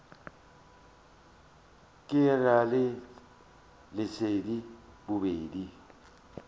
ke ra le leset bobedi